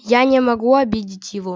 я не могу обидеть его